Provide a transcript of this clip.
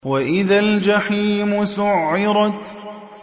وَإِذَا الْجَحِيمُ سُعِّرَتْ